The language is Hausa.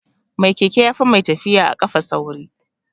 Mai keke yafi mai tafiya a kafa sauri